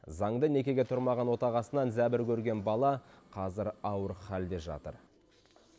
заңды некеге тұрмаған отағасынан зәбір көрген бала қазір ауыр халде жатыр